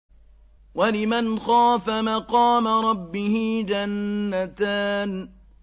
وَلِمَنْ خَافَ مَقَامَ رَبِّهِ جَنَّتَانِ